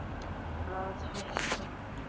Að hætta?